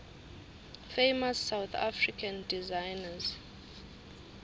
famous south african designers